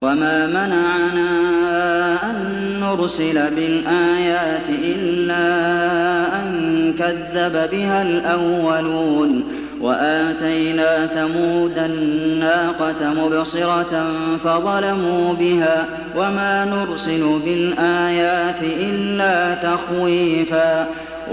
وَمَا مَنَعَنَا أَن نُّرْسِلَ بِالْآيَاتِ إِلَّا أَن كَذَّبَ بِهَا الْأَوَّلُونَ ۚ وَآتَيْنَا ثَمُودَ النَّاقَةَ مُبْصِرَةً فَظَلَمُوا بِهَا ۚ وَمَا نُرْسِلُ بِالْآيَاتِ إِلَّا تَخْوِيفًا